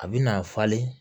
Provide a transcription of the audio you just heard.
A bɛ na falen